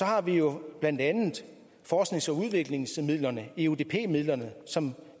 har vi jo blandt andet forsknings og udviklingsmidlerne eudp midlerne som